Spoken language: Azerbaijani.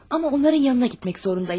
Amma onların yanına getmək məcburiyyətindəyəm.